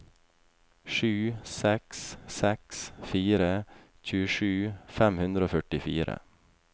sju seks seks fire tjuesju fem hundre og førtifire